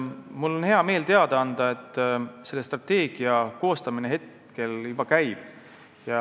Mul on hea meel teada anda, et sellise strateegia koostamine juba käib.